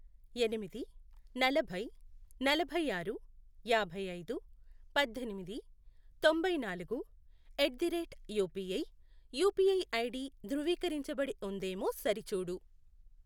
ఎనిమిది, నలభై, నలభై ఆరు, యాభై ఐదు, పద్దెనిమిది, తొంభై నాలుగు, at the rate UPI UPI ID ధృవీకరించబడి ఉందేమో సరిచూడు.